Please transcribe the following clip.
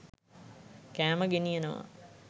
කෑම ගෙනියනවා.